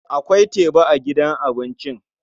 Akwai teba a gidan abincin.